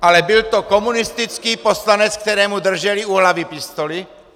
Ale byl to komunistický poslanec, kterému drželi u hlavy pistoli.